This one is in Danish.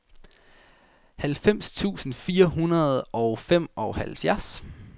halvfems tusind fire hundrede og femoghalvfjerds